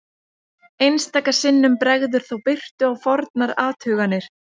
einstaka sinnum bregður þó birtu á fornar athuganir